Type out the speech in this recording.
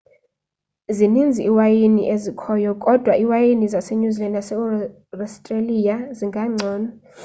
zininzi iiwayini ezikhoyo kodwa iiwayini zase-new zealand nase-australia zingangcono